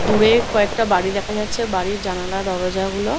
দূরের কয়েকটা বাড়ি দেখা যাচ্ছেবাড়ির জানালা দরজা গুলো --